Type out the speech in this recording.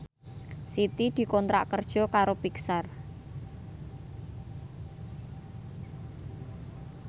Siti dikontrak kerja karo Pixar